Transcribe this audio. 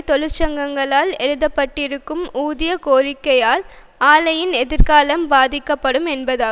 தொழிற்சங்கங்களால் எழுப்பப்பட்டிருக்கும் ஊதிய கோரிக்கையால் ஆலையின் எதிர்காலம் பாதிக்கப்படும் என்பதாகும்